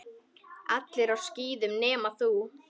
Allir á skíðum nema þú.